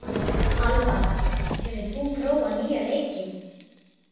Alva, hefur þú prófað nýja leikinn?